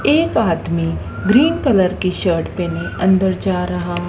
एक आदमी green colour की शर्ट पहने अंदर जा रहा--